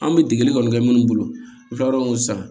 An bɛ degeli kɔni kɛ minnu bolo u kila row san